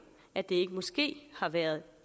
at det måske har været